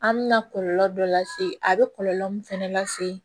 An mɛna kɔlɔlɔ dɔ lase a be kɔlɔlɔ min fɛnɛ lase